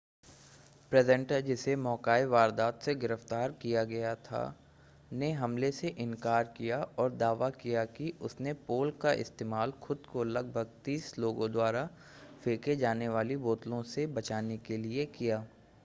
presenter जिसे मौका-ए-वारदात से गिरफ़्तार किया गया था ने हमले से इनकार किया और दावा किया कि उसने पोल का इस्तेमाल खुद को लगभग तीस लोगों द्वारा फेंके जाने वाली बोतलों से बचाने के लिए किया